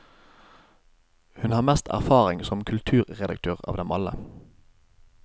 Hun har mest erfaring som kulturredaktør av dem alle.